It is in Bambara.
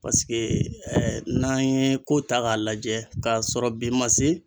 Paseke ɛ n'an ye ko ta k'a lajɛ k'a sɔrɔ bi ma se.